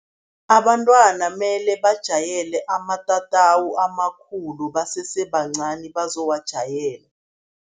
Abantwana mele bajayele amatatawu amakhulu basese bancani bazowajayela.